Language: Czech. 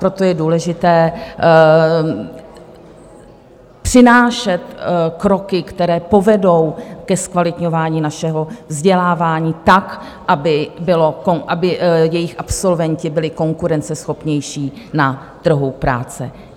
Proto je důležité přinášet kroky, které povedou ke zkvalitňování našeho vzdělávání tak, aby jejich absolventi byli konkurenceschopnější na trhu práce.